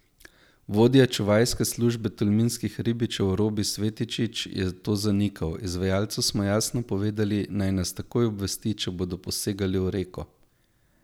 Vodja čuvajske službe tolminskih ribičev Robi Svetičič je to zanikal: 'Izvajalcu smo jasno povedali, naj nas takoj obvesti, če bodo posegali v reko.